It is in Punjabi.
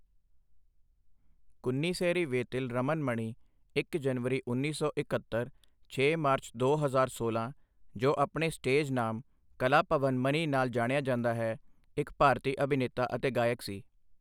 ਕੁੰਨੀਸੇਰੀ ਵੇਤਿਲ ਰਮਨ ਮਣੀ ਇੱਕ ਜਨਵਰੀ ਉੱਨੀ ਸੌ ਇੱਕਹੱਤਰ ਛੇ ਮਾਰਚ ਦੋ ਹਜ਼ਾਰ ਸੋਲਾਂ, ਜੋ ਆਪਣੇ ਸਟੇਜ ਨਾਮ ਕਲਾਭਵਨ ਮਨੀ ਨਾਲ ਜਾਣਿਆ ਜਾਂਦਾ ਹੈ, ਇੱਕ ਭਾਰਤੀ ਅਭਿਨੇਤਾ ਅਤੇ ਗਾਇਕ ਸੀ।